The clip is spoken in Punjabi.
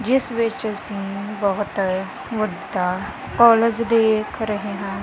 ਜਿਸ ਵਿੱਚ ਅਸੀ ਬਹੁਤ ਵੱਡਾ ਕਾਲਜ ਦੇਖ ਰਹੇ ਹਾਂ।